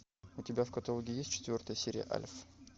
у тебя в каталоге есть четвертая серия альф